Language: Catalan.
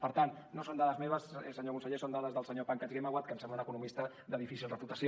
per tant no són dades meves senyor conseller són dades del senyor pankaj ghemawat que em sembla un economista de difícil reputació